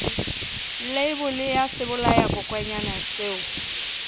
leibole ya sebolayakokwanyana seo o